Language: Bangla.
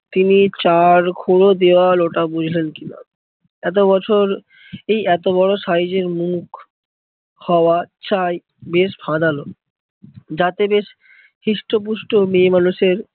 তিনি চার ঘুরো দেওয়া লোটা বুঝলেন কিনা? এত বছর এই এত বড়ো এর মুখ হওয়া চাই বেশ যাতে বেশ হৃষ্ট পুষ্ট মেয়ে মানুষের